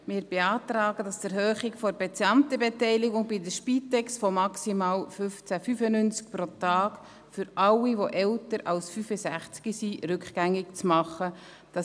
Wir beantragen, dass die Erhöhung der Patientenbeteiligung bei der Spitex von maximal 15.95 Franken pro Tag für alle, die älter als 65 Jahre sind, rückgängig gemacht wird.